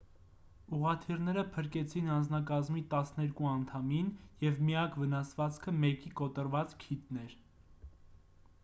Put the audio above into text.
ուղղաթիռները փրկեցին անձնակազմի տասներկու անդամին և միակ վնասվածքը մեկի կոտրված քիթն էր